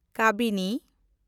ᱠᱟᱵᱤᱱᱤ